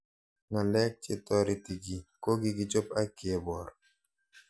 Ng'alek che toreti kiy ko kikichop ak kepor